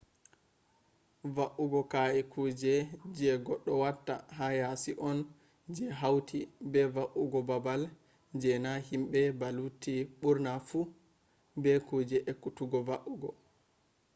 va’ugo ka’e kuje je goddo watta ha yasi on je hauti be va’ugo babal je na himbe ba hauti burna fu be kuje ekkutuggo va’ugo